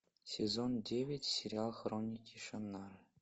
сезон девять сериал хроники шаннары